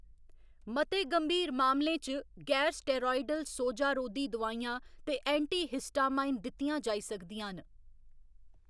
मते गंभीर मामलें च गैर स्टेरायडल सोजा रोधी दोआइयां ते एंटीहिस्टामाइन दित्तियां जाई सकदियां न।